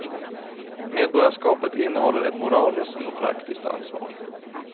Medborgarskapet innehåller ett moraliskt och praktiskt ansvar.